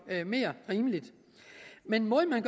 mere rimeligt men måden man